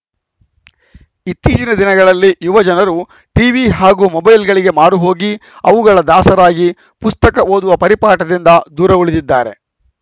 ಇತ್ತೀಚಿನ ದಿನಗಳಲ್ಲಿ ಯುವಜನರು ಟಿವಿ ಹಾಗೂ ಮೊಬೈಲ್‌ಗಳಿಗೆ ಮಾರುಹೋಗಿ ಅವುಗಳ ದಾಸರಾಗಿ ಪುಸ್ತಕ ಓದುವ ಪರಿಪಾಠದಿಂದ ದೂರ ಉಳಿದಿದ್ದಾರೆ